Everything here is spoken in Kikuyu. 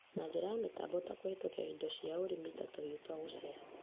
na njĩra ya mĩtambo ta kũhetũkĩra indo cia ũrĩmi na tũhiũ twa gũceeha